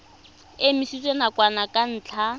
e emisitswe nakwana ka ntlha